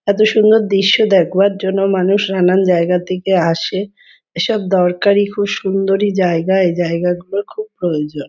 এতো সুন্দর দৃশ্য দেখবার জন্য মানুষ নানান জায়গার থেকে আসে এসব দরকারি খুব সুন্দরী জায়গা এই জায়গাগুলোর খুব প্রয়োজন।